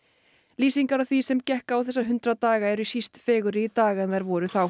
lýsingar á því sem gekk á þessa hundrað daga eru síst fegurri í dag en þær voru þá